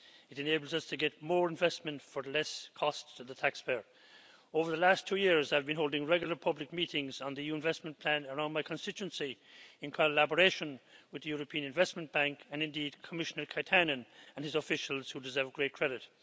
It enables us to get more investment for less cost to the taxpayer. Over the last two years I have been holding regular public meetings on the investment plan around my constituency, in collaboration with the European Investment Bank and Commissioner Katainen and his officials, who deserve great credit.